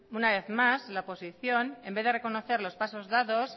una vez más la oposición en vez de reconocer los pasos dados